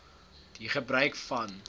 die gebruik van